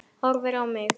Horfir á mig.